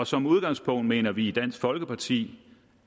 som udgangspunkt mener vi i dansk folkeparti